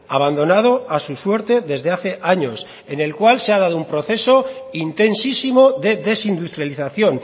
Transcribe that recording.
abandonado a su suerte desde hace años en el cual se ha dado un proceso intensísimo de desindustrialización